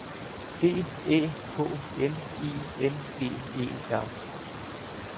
D Æ K N I N G E R